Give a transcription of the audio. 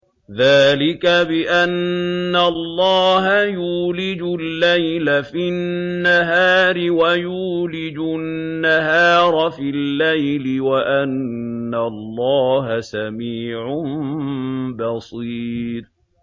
ذَٰلِكَ بِأَنَّ اللَّهَ يُولِجُ اللَّيْلَ فِي النَّهَارِ وَيُولِجُ النَّهَارَ فِي اللَّيْلِ وَأَنَّ اللَّهَ سَمِيعٌ بَصِيرٌ